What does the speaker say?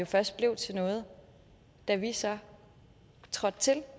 først blev til noget da vi så trådte til